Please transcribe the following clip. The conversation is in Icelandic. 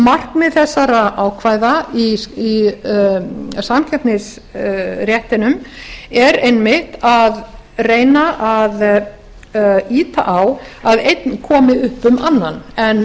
markmið þessara ákvæða í samkeppnisréttinum er einmitt að reyna að ýta á að einn komi upp um annan en